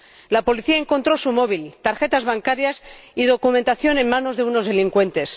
La policía encontró su móvil, tarjetas bancarias y documentación en manos de unos delincuentes.